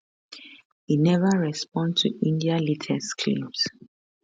e neva respond to india latest claims